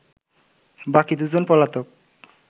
বাকি দুজন পলাতক